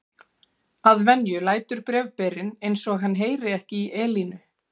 Að venju lætur bréfberinn eins og hann heyri ekki í Elínu.